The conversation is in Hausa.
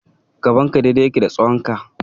Gaban ka dai-dai yake da tsawonka.